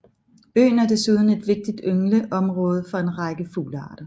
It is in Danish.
Øen er desuden et vigtigt yngleområde for en række fuglearter